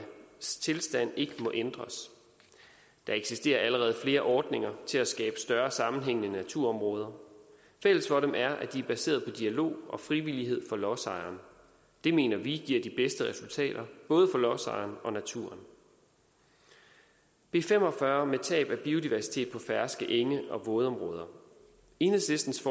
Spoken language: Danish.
tilstand ikke må ændres der eksisterer allerede flere ordninger til at skabe større sammenhængende naturområder fælles for dem er at de er baseret på dialog og frivillighed for lodsejeren det mener vi giver de bedste resultater både for lodsejeren og naturen b fem og fyrre tab af biodiversitet på ferske enge og vådområder enhedslistens